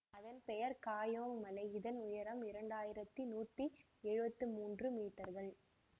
அதன் பெயர் காயோங் மலை இதன் உயரம் இரண்டு ஆயிரத்தி நூற்றி எழுவத்தி மூன்று மீட்டர்கள்